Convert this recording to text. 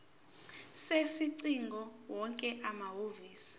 sezingcingo wonke amahhovisi